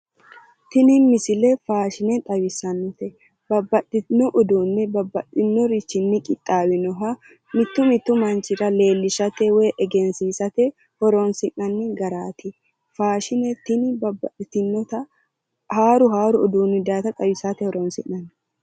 Tini misile faashine xawissannote babbaxxitino uduunni babbaxinorichnni qixxaawinoha mittu mittu manchira leellishate woy egensiisate horonsi'nannni garaati faashine tini babbaxitinota haaru haaru uduunni daayiita xawisate horonsi'nanni.